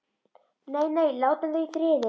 Nei, nei, látum þau í friði.